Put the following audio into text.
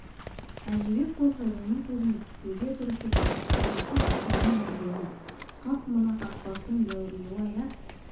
әжібек болса оның көзіне түспеуге тырысып қашып-пысумен жүргені қап мына қақпастың дәуірлеуі-ай ә